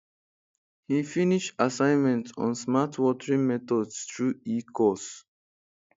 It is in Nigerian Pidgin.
he finish assignments on smart watering methods through ecourse